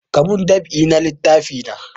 Ka mun dab'i na littafi na!